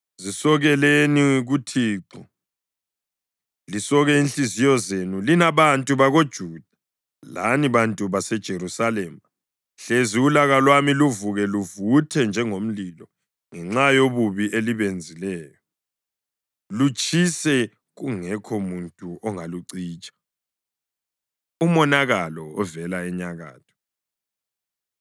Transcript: Zisokeleni kuThixo, lisoke inhliziyo zenu, lina bantu bakoJuda lani bantu baseJerusalema, hlezi ulaka lwami luvuke luvuthe njengomlilo ngenxa yobubi elibenzileyo, lutshise kungekho muntu ongalucitsha.” Umonakalo Ovela Enyakatho